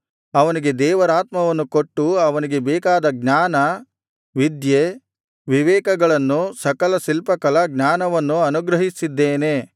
ಅವನಿಗೆ ದೇವರಾತ್ಮವನ್ನು ಕೊಟ್ಟು ಅವನಿಗೆ ಬೇಕಾದ ಜ್ಞಾನ ವಿದ್ಯೆ ವಿವೇಕಗಳನ್ನೂ ಸಕಲ ಶಿಲ್ಪಕಲಾಜ್ಞಾನವನ್ನೂ ಅನುಗ್ರಹಿಸಿದ್ದೇನೆ